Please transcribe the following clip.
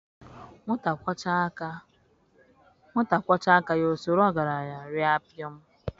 Nwata kwọchaa aka ya o soro ọgaranya raa pịọm